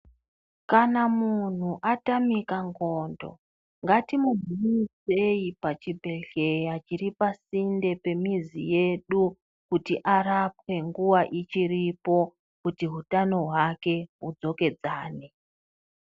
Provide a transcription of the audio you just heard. Kana muntu atamika ndxondo ngatumuunzei pachibhedhlera chiri pasinde pemizi yedu kuti arapwe nguwa ichiripo kuti utano hwake hudzokedzane.